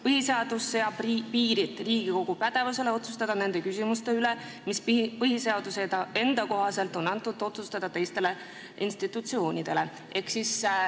Põhiseadus seab piirid Riigikogu pädevusele otsustada nende küsimuste üle, mis põhiseaduse enda kohaselt on antud otsustada teistele institutsioonidele.